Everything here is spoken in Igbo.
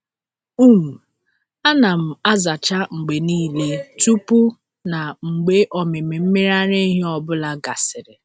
um Ana m azacha mgbe niile tupu na mgbe ọmịmị mmiri ara ehi ọ bụla gasịrị.